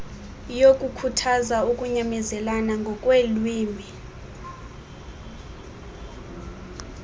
yokukhuthaza ukunyamezelana ngokweelwimi